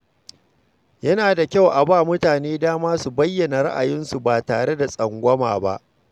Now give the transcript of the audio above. Yana da kyau a ba mutane dama su bayyana ra’ayinsu ba tare da tsangwama ba.